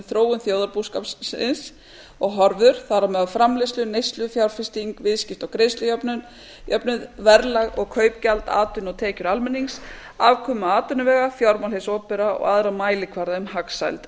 þróun þjóðarbúskaparins og horfur þar á meðal um framleiðslu neyslu fjárfestingu viðskipta og greiðslujöfnuð verðlag og kaupgjald atvinnu og tekjur almennings afkomu atvinnuvega fjármál hins opinbera og aðra mælikvarða um hagsæld